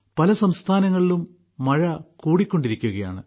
പല സംസ്ഥാനങ്ങളിലും മഴ കൂടിക്കൊണ്ടിരിക്കുകയാണ്